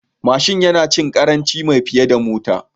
Babur yana cin ƙarancin mai fiye da Mota